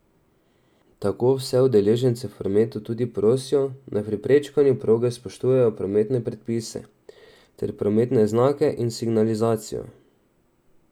Tako vse udeležence v prometu tudi prosijo, naj pri prečkanju proge spoštujejo prometne predpise ter prometne znake in signalizacijo.